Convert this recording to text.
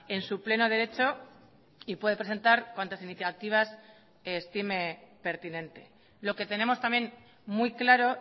en su pleno derecho y puede presentar cuantas iniciativas estime pertinente lo que tenemos también muy claro